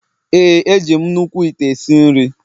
Ee, eji m nnukwu ite esi nri.